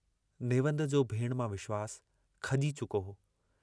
नेवंद जो भेणु मां विश्वासु खजी चुको हो।